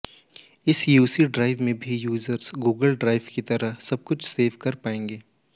इस UC drive में भी यूज़र्स गूगल ड्राइव की ही तरह सबकुछ सेव कर पाएंगे